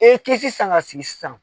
E ye kɛsi san ka sigi sisan.